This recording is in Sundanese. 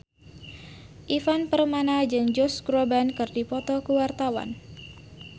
Ivan Permana jeung Josh Groban keur dipoto ku wartawan